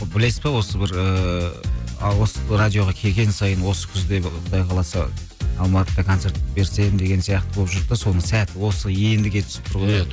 білесіз бе осы бір ыыы а осы радиоға келген сайын осы күзде бір құдай қаласа алматыда концерт берсем деген сияқты болып жүрдік те соның сәті осы ендіге түсіп тұр ғой е